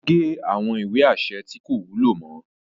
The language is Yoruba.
O ge awọn ìwé aṣẹ tí ko wúlò mọ